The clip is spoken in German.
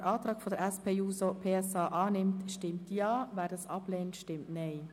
Wer den Antrag der SP-JUSOPSA annimmt, stimmt Ja, wer diesen ablehnt, stimmt Nein.